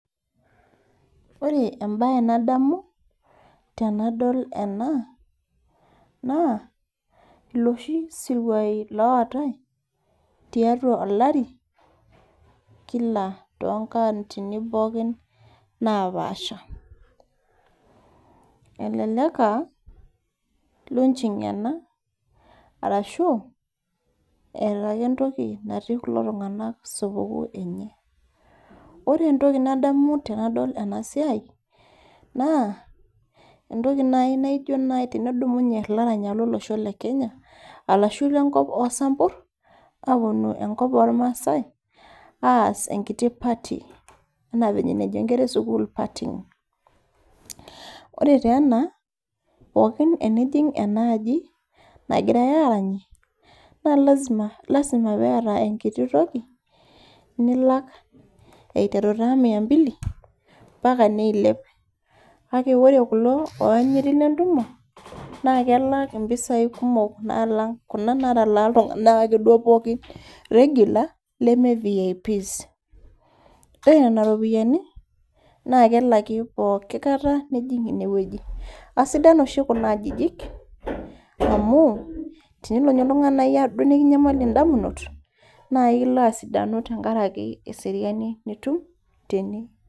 Ore nademu tenadol ena, naa losshi siruai loatai tiatua olari, kila too nkautini pookin napaasha. Elelek aa launching ena arashu eeta ake entoki natii kulo tung'anak supukuu enye. Ore entoki nadamu tenadol ena siai naa, ore naaji tenedumunye ilaranyak lolosho le Kenya ashu lenkop oo sampur, aapuonu enkop oolmaasai, aas entoki naji party anaa enejo inkera e sukuul partying. Ore taa ena, pookin tenijing enaaji nagirai aranyie, naa lazma piata enkiti toki, nilak eiteru taa mia mbili ompaka neilep, kake ore kulo loanyiti le ntumo naake elak impisai kumok naalang' kuna natalaa anke naaduo iltung'anak ake pookin regular leme VIPs. Ore nena ropiani, naake elaki pooki kata ake nijing' ine wueji. Aisidan oshi kuna ajijik, amu tenelo duo oltung'ani nekinyamaliki indamunot, naa kelo asidanu enkaraki eseriani nitum tene.